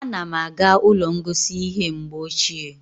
A na m aga ụlọ ngosi ihe mgbe ochie